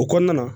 O kɔnɔna na